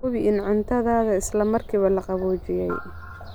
Hubi in cuntada isla markiiba la qaboojiyey.